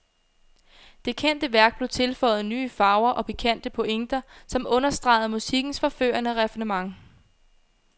Det kendte værk blev tilføjet nye farver og pikante pointer, som understregede musikkens forførende raffinement.